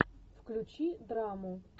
включи драму